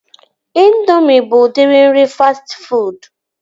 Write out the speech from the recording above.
Indoomị bụ udiri nri fastị fuud